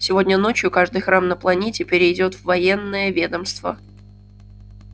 сегодня ночью каждый храм на планете перейдёт в военное ведомство